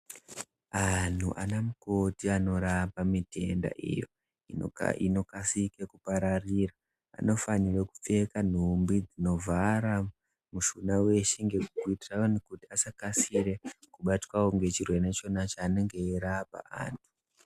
Anhu anamukoti anorapa mitenda iyo inokasike kupararira, anofanirwe kupfeka nhumbi dzinovhara mushuna weshe kuitirani kuti asakasire kubatwawo ngechirwere chona chaanenge eyirapa anhu.